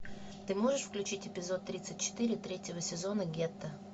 ты можешь включить эпизод тридцать четыре третьего сезона гетто